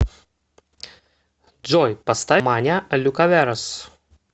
джой поставь маня лукаверос